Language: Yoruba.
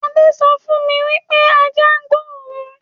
Adé sọ fún mi wípé ajá gbó òun